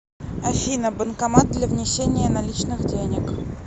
афина банкомат для внесения наличных денег